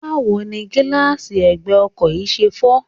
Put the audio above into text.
Báwo ni gíláàsì ẹ̀gbẹ́ ọkọ̀ yìí ṣe fọ́?